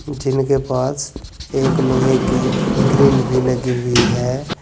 जिनके पास एक लोहे की ग्रिल भी लगी हुई है।